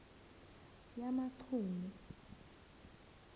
yamachunu